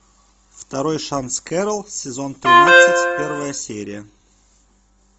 второй шанс кэрол сезон тринадцать первая серия